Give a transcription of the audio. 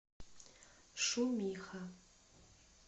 шумиха